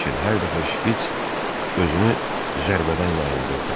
Lakin hər dəfə şpits özünü zərbədən yayındırdı.